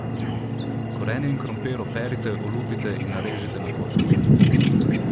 Korenje in krompir operite, olupite in narežite na kockice.